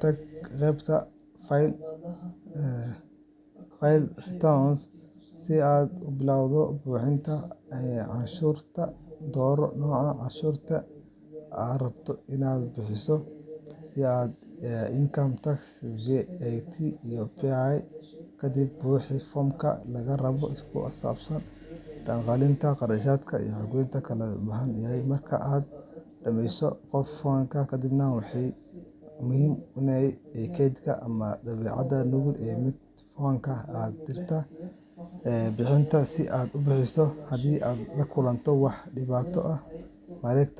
tag qeybta File Returns si aad u bilowdo buuxinta canshuurta. Dooro nooca canshuurta aad rabto inaad buuxiso, sida Income Tax, VAT, ama PAYE. Kadib buuxi foomamka lagaa rabo oo ku saabsan dakhligaaga, kharashyada, iyo xogta kale ee loo baahan yahay. Marka aad dhamayso, gudbi foomka kadibna bixi wixii canshuur ah ee lagaa rabo. Ugu dambeyn, waxaa muhiim ah inaad kaydsato ama daabacato nuqul ka mid ah foomka aad dirtay iyo caddeynta bixinta si aad u haysato diiwaan. Haddii aad la kulanto wax dhibaato ah, mareekt